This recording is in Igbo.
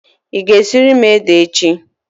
Ị ga-esiri m ede echi?